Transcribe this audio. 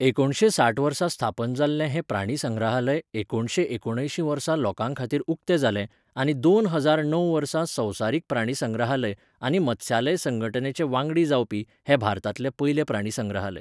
एकुणशे साठ वर्सा स्थापन जाल्लें हें प्राणीसंग्रहालय एकुणशे एकूणअंयशीं वर्सा लोकांखातीर उक्तें जालें आनी दोन हजार णव वर्सा संवसारीक प्राणीसंग्रहालय आनी मत्स्यालय संघटनेचें वांगडी जावपी हें भारतांतलें पयलें प्राणीसंग्रहालय.